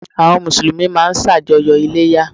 Àwọn Mùsùlùmí máa n sàjọyọ̀ Iléyá